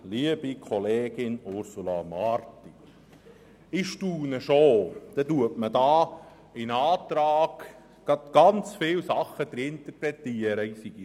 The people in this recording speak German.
Liebe Kollegin Ursula Marti, ich staune schon, was alles in meinen Antrag hineininterpretiert wird.